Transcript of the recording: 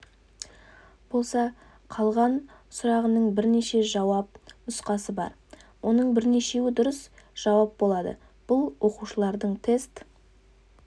болса қалған сұрағының бірнеше жауап нұсқасы бар оның бірнешеуі дұрыс жауап болады бұл оқушылардың тест